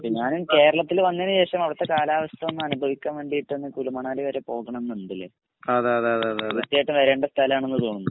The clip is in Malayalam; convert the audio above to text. ഞാനും കേരളത്തില് വന്നീന് ശേഷം അവിടത്തെ കാലാവസ്ഥ ഒന്ന് അനുഭവിക്കാൻ വേണ്ടീറ്റ് കുളുമാണാലി വരെ പോകണംന്ന് ണ്ട് ലെ തീർച്ചയായിട്ടും വരേണ്ട സ്ഥലാണ് തോന്നുന്നു